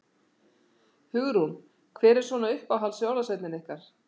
Hugrún: Hver er svona uppáhalds jólasveinninn ykkar?